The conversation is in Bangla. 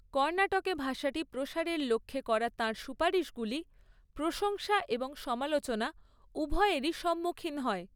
কর্ণাটকে ভাষাটি প্রসারের লক্ষ্যে করা তাঁর সুপারিশগুলি, প্রশংসা এবং সমালোচনা উভয়েরই সম্মুখীন হয়।